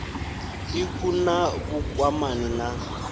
ik hu na vhukwamani na